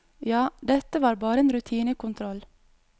Ja, dette var bare en rutinekontroll.